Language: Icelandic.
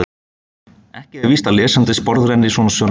Ekki er víst að lesandinn sporðrenni svona sönnun.